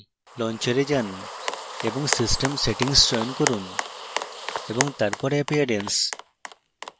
launcher এ যান এবং system settings চয়ন করুন এবং তারপর appearance